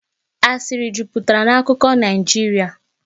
Asịrị jupụtara na akụkọ Naijiria